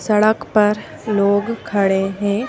सड़क पर लोग खड़े हैं।